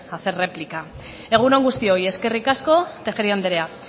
hacer réplica egun on guztioi eskerrik asko tejeria andrea